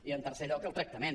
i en tercer lloc el tractament